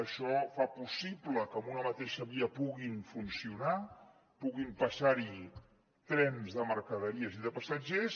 això fa possible que en una mateixa via puguin funcionar puguin passar hi trens de mercaderies i de passatgers